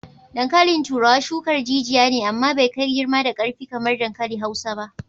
Dankalin turawa shukar jijiya ne amma bai kai girma da karfi kamar dankali Hausa ba.